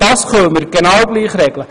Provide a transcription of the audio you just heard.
Das können wir auch so regeln.